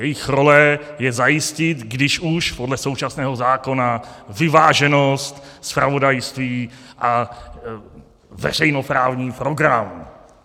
Jejich role je zajistit, když už, podle současného zákona vyváženost zpravodajství a veřejnoprávní program.